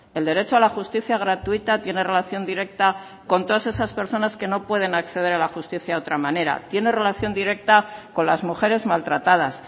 el derecho a la justicia gratuita tiene relación directa con todas esas personas que no pueden acceder a la justicia de otra manera tiene relación directa con las mujeres maltratadas